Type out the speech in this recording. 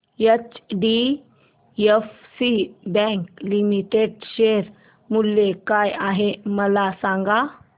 HDFC bank limited share मूल्य काय आहे मला सांगा